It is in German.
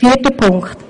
Zum vierten Punkt.